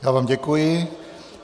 Já vám děkuji.